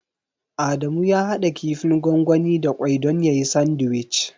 Adamu ya haɗa kifin gwangwani da ƙwai don yayi sandiwic.